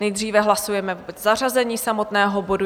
Nejdříve hlasujeme o zařazení samotného bodu.